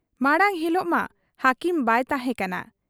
ᱢᱟᱬᱟᱝ ᱦᱤᱞᱚᱜ ᱢᱟ ᱦᱟᱹᱠᱤᱢ ᱵᱟᱭ ᱛᱟᱦᱮᱸ ᱠᱟᱱᱟ ᱾